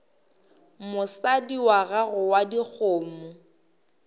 mosadi wa gago wa dikgomo